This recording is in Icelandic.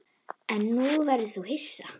En nú verður þú hissa!